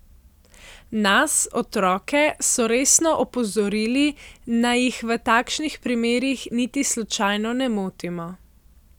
Nas, otroke, so resno opozorili, naj jih v takšnih primerih niti slučajno ne motimo.